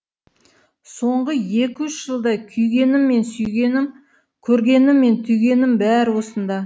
соңғы екі үш жылда күйгенім мен сүйгенім көргенім мен түйгенім бәрі осында